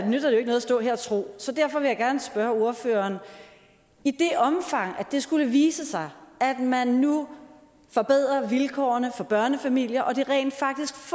stå her og tro så derfor vil jeg gerne spørge ordføreren i det omfang det skulle vise sig at man nu forbedrer vilkårene for børnefamilierne og det rent faktisk